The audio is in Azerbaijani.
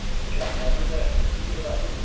iki at nəyə gərəkdir, biri bəsindir.